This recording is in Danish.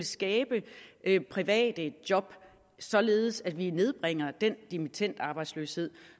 skabe private job således at vi nedbringer den dimittendarbejdsløshed